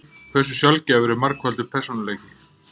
Hversu sjaldgæfur er margfaldur persónuleiki?